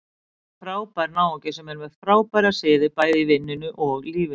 Þetta er frábær náungi sem er með frábæra siði, bæði í vinnunni og lífinu.